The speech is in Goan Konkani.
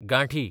गांठी